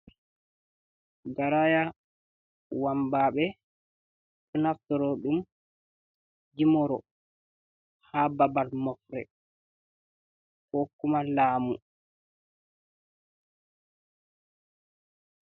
Garaya wambaɓe ɗo nafturo ɗum yimoro ha babal mofre ko kuma lamu.